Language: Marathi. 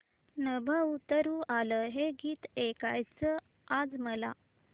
नभं उतरू आलं हे गीत ऐकायचंय आज मला